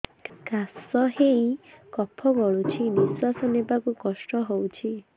କାଶ ହେଇ କଫ ଗଳୁଛି ନିଶ୍ୱାସ ନେବାକୁ କଷ୍ଟ ହଉଛି